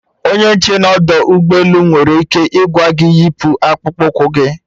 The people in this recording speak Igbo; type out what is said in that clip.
Onye nche nọ n'ọdọ ụgbọ elu nwere ike ịgwa gị yipu akpụkpụ ụkwụ gị